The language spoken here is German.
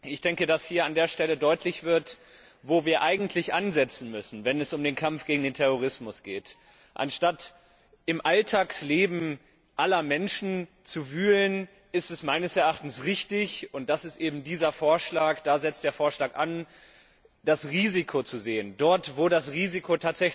Ich denke, dass an dieser Stelle deutlich wird, wo wir eigentlich ansetzen müssen, wenn es um den Kampf gegen den Terrorismus geht Anstatt im Alltagsleben aller Menschen zu wühlen, ist es meines Erachtens richtig und da setzt eben dieser Vorschlag an das Risiko dort zu sehen, wo das Risiko